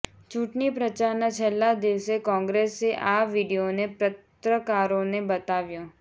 ચૂંટણી પ્રચારના છેલ્લા દિવસે કોંગ્રેસે આ વીડિયોને પત્રકારોને બતાવ્યો